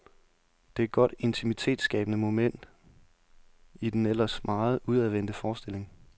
Det er et godt, intimitetsskabnede moment i den eller meget udadvendte forestilling.